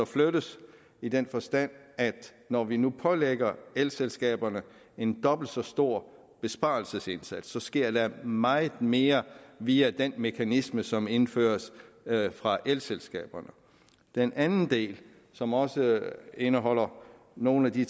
flyttes i den forstand at når vi nu pålægger elselskaberne en dobbelt så stor besparelsesindsats så sker der meget mere via den mekanisme som indføres fra elselskaberne den anden del som også indeholder nogle af de